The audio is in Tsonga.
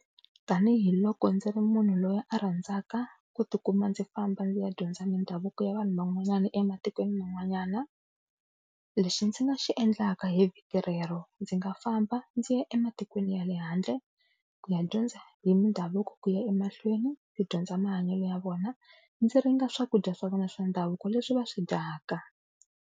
Tanihiloko ndzi ri munhu loyi a rhandzaka ku tikuma ndzi famba ndzi ya dyondza mindhavuko ya vanhu van'wanyana ematikweni man'wanyana, lexi ndzi nga xi endlaka hi vhiki rero ndzi nga famba ndzi ya ematikweni ya le handle ku ya dyondza hi mindhavuko ku ya emahlweni no dyondza mahanyelo ya vona ndzi ringa swakudya swa vona swa ndhavuko leswi va swi dyaka.